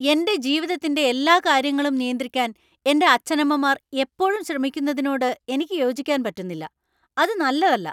എന്‍റെ ജീവിതത്തിന്‍റെ എല്ലാ കാര്യങ്ങളും നിയന്ത്രിക്കാൻ എന്‍റെ അച്ഛനമ്മമാർ എപ്പഴും ശ്രമിക്കുന്നതിനോട് എനിക്ക് യോജിക്കാൻ പറ്റുന്നില്ല. അത് നല്ലതല്ല .